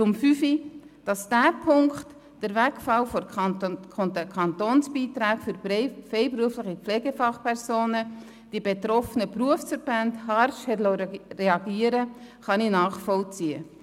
Zu Punkt 5: Dass die betroffenen Berufsverbände auf diesen Punkt, den Wegfall der Kantonsbeiträge für freiberufliche Pflegefachpersonen, harsch reagieren, kann ich nachvollziehen.